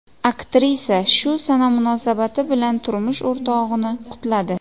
Aktrisa shu sana munosabati bilan turmush o‘rtog‘ini qutladi.